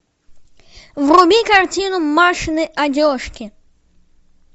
вруби картину машины одежки